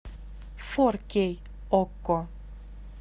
фор кей окко